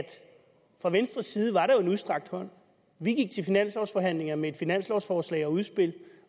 at fra venstres side var der jo en udstrakt hånd vi gik til finanslovforhandlingerne med et finanslovforslag og udspil